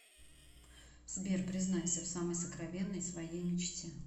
сбер признайся в самой сокровенной своей мечте